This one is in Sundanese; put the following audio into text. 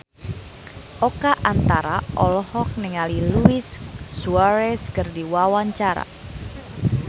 Oka Antara olohok ningali Luis Suarez keur diwawancara